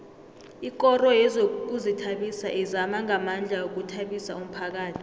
ikoro yezokuzithabisa izama ngamandla ukuthabisa umphakhathi